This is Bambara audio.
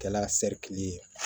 Kɛla ye